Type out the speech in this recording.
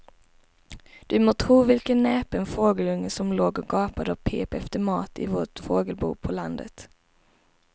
Du må tro vilken näpen fågelunge som låg och gapade och pep efter mat i vårt fågelbo på landet.